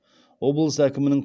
облыс әкімінің